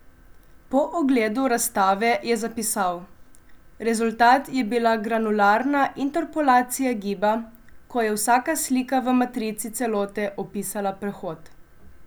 Po ogledu razstave je zapisal: "Rezultat je bila granularna interpolacija giba, ko je vsaka slika v matrici celote opisala prehod.